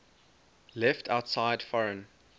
left outside foreign